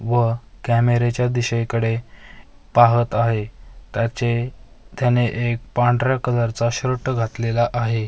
व कॅमेरेच्या दिशेकडे पाहत आहे त्याचे त्याचे त्याने एक पांढऱ्या कलरचा शर्ट घातलेला आहे .